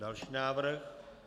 Další návrh?